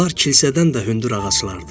Onlar kilsədən də hündür ağaclardır.